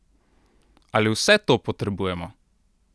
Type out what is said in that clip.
Ali vse to potrebujemo?